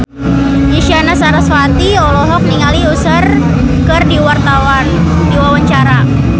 Isyana Sarasvati olohok ningali Usher keur diwawancara